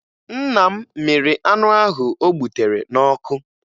Nna m mịrị anụ ahụ o gbutere n'ọkụ